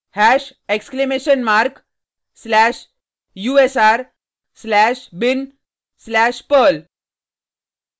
hash exclamation mark slash usr slash bin slash perl